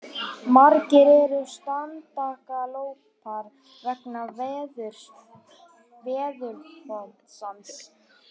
Margir eru strandaglópar vegna veðurofsans